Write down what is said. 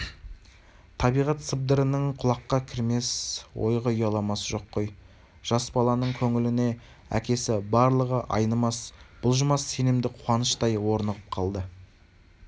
табиғат сыбырының құлаққа кірмес ойға ұяламасы жоқ қой жас баланың көңіліне әкесі барлығы айнымас-бұлжымас сенімді қуаныштай орнығып қалды